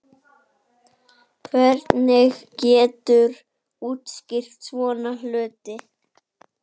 Hvernig geturðu útskýrt svona hluti?